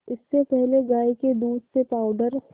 इससे पहले गाय के दूध से पावडर